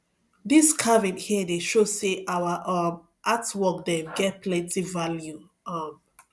dis carving here dey show sey our um art work dem get plenty value um